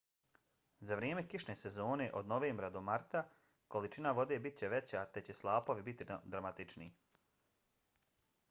za vrijeme kišne sezone od novembra do marta količina vode bit će veća te će slapovi biti dramatičniji